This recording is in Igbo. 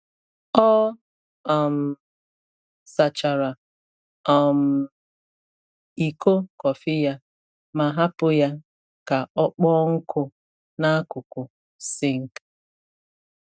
Ọ um sachara um iko kọfị ya ma hapụ ya ka ọ kpọọ nkụ n’akụkụ sink.